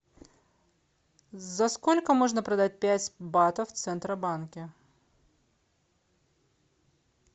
за сколько можно продать пять батов в центробанке